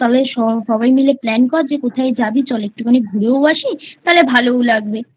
তবে সবাই মিলে Plan কর যে কোথায় যাবি চল একটু খানি ঘুরেও আসি তাহলে ভালোও লাগবে I